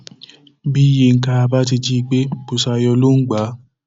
bí yinka bá ti jí i gbé busayo ló ń gbà á